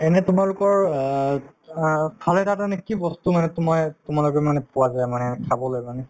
এনে তোমালোকৰ অ অ খালে তাতে মানে কি বস্তু মানে to ময়ে তোমালোকৰ মানে পোৱা যায় মানে খাবলৈ মানে